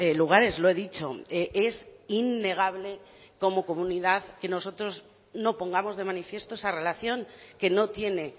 lugares lo he dicho es innegable como comunidad que nosotros no pongamos de manifiesto esa relación que no tiene